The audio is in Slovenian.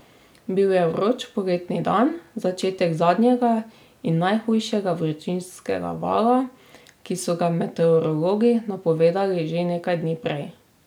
Bil je vroč poletni dan, začetek zadnjega in najhujšega vročinskega vala, ki so ga meteorologi napovedovali že nekaj dni prej.